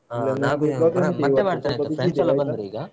, friends ಎಲ್ಲ ಬಂದ್ರು ಈಗ.